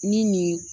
Ni nin